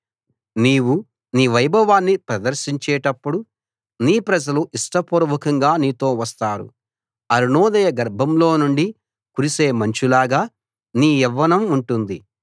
నీవు నీ వైభవాన్ని ప్రదర్శించేటప్పుడు నీ ప్రజలు ఇష్టపూర్వకంగా నీతో వస్తారు అరుణోదయ గర్భంలో నుండి కురిసే మంచులాగా నీ యవ్వనం ఉంటుంది